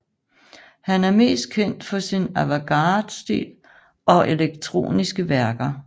Han er mest kendt for sin avantgardestil og elektroniske værker